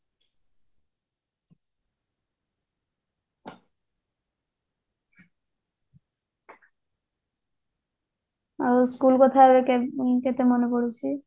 ଆଉ ସେଇ କଥା ଗୋଟେ କେତେ ମାନେ ପଡୁଛି